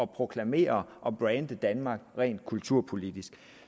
proklamere og brande danmark rent kulturpolitisk